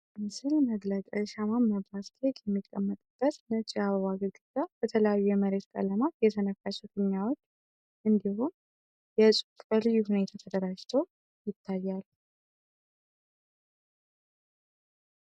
🎂 የምስል መግለጫ የሻማ ማብራት ኬክ የሚቀመጥበት ነጭ የአበባ ግድግዳ፣ በተለያዩ የመሬታዊ ቀለማት የተነፈሱ ፊኛዎች፣ እንዲሁም የ"Happy Birthday" ጽሑፍ በልዩ ሁኔታ ተደራጅቶ ይታያል።